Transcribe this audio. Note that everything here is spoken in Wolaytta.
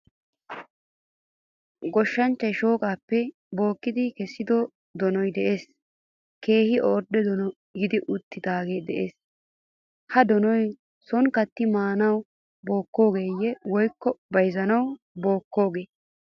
Goshshanchcha shooqqappe bookkidi kesido donoy de'ees. Keehin ordde donoy geeyi uttidage de'ees. Ha donoy sooni katti maanawu bookkogeye woykko bayzzanawu bookkogee?